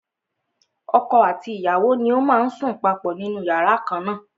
Ọkọ àti ìyàwó ni ó má ń sùn papọ̀ nínú yàrá kan na.